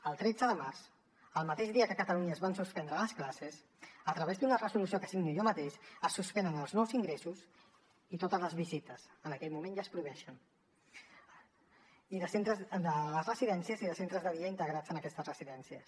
el tretze de març el mateix dia que a catalunya es van suspendre les classes a través d’una resolució que signo jo mateix es suspenen els nous ingressos i totes les visites en aquell moment ja es prohibeixen a les residències i centres de dia integrats en aquestes residències